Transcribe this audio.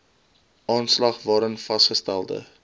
aanslag waarin vasgestelde